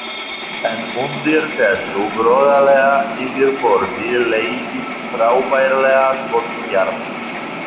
En undir þessu groddalega yfirborði leyndist frábærlega gott hjarta.